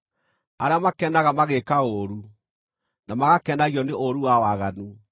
arĩa makenaga magĩĩka ũũru, na magakenagio nĩ ũũru wa waganu,